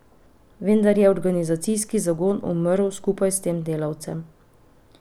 Vendar je organizacijski zagon umrl skupaj s tem delavcem.